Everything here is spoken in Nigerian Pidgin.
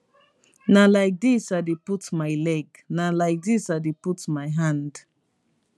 na like dis i dey put my leg na like dis i dey put my hand